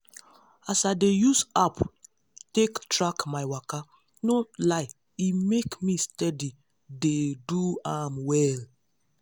as i dey use app take track my waka no lie e make me steady dey do am well.